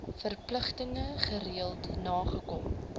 verpligtinge gereeld nakom